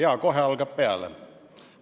Jaa, kohe algab peale.